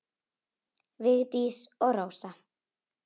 Vigdís og Rósa.